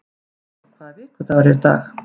Merkúr, hvaða vikudagur er í dag?